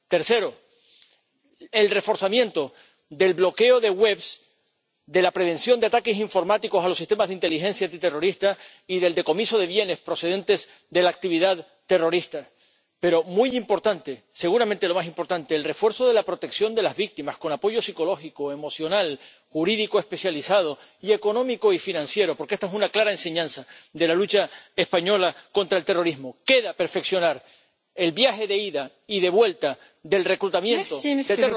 Tercero, el reforzamiento del bloqueo de webs, de la prevención de ataques informáticos a los sistemas de inteligencia antiterrorista y del decomiso de bienes procedentes de la actividad terrorista, pero, muy importante, seguramente lo más importante, el refuerzo de la protección de las víctimas con apoyo psicológico, emocional, jurídico especializado y económico y financiero, porque esta es una clara enseñanza de la lucha española contra el terrorismo. Queda perfeccionar el viaje de ida y de vuelta del reclutamiento de terroristas